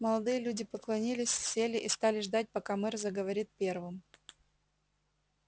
молодые люди поклонилась сели и стали ждать пока мэр заговорит первым